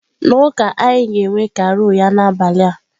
Na ụka anyị ga-enwe carol ya n'abalị a.